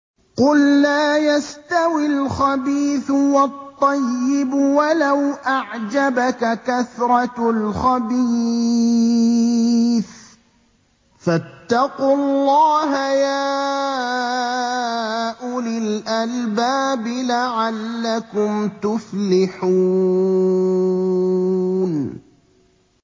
قُل لَّا يَسْتَوِي الْخَبِيثُ وَالطَّيِّبُ وَلَوْ أَعْجَبَكَ كَثْرَةُ الْخَبِيثِ ۚ فَاتَّقُوا اللَّهَ يَا أُولِي الْأَلْبَابِ لَعَلَّكُمْ تُفْلِحُونَ